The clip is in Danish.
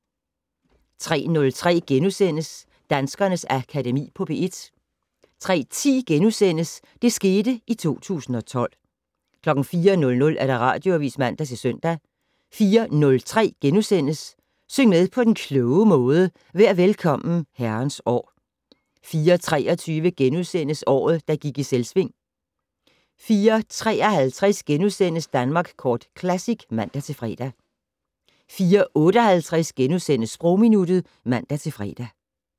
03:03: Danskernes Akademi på P1 * 03:10: Det skete i 2012 * 04:00: Radioavis (man-søn) 04:03: Syng med på den kloge måde: Vær Velkommen, Herrens År * 04:23: Året, der gik i Selvsving * 04:53: Danmark Kort Classic *(man-fre) 04:58: Sprogminuttet *(man-fre)